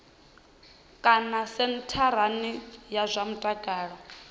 kana sentharani ya zwa mutakalo